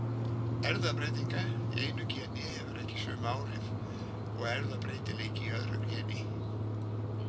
Erfðabreytileiki í einu geni hefur ekki sömu áhrif og erfðabreytileiki í öðru geni.